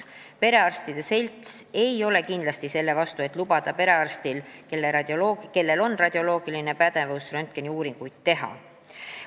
Perearstide selts ei ole kindlasti vastu, kui lubatakse perearstil, kellel on radioloogiline pädevus, röntgenuuringuid teha.